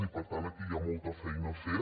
i per tant aquí hi ha molta feina a fer